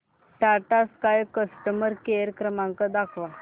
Tata sky customer care क्रमांक दाखवा